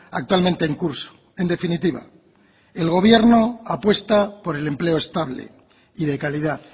actualmente en curso en definitiva el gobierno apuesta por el empleo estable y de calidad